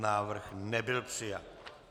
Návrh nebyl přijat.